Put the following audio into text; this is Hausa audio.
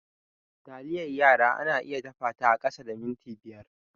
Taliyar yara ana iya dafa ta a kasa da minti biyar.